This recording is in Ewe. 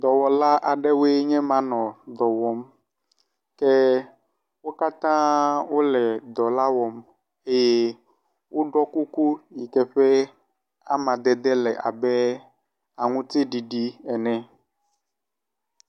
Dɔwɔla aɖewoe nye ma nɔ dɔ wɔm ke wo katã wo le dɔ la wɔm eye woɖɔ kuku yi ke ƒe amadede le abe aŋutiɖiɖi ene.